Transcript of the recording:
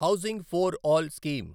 housing for all scheme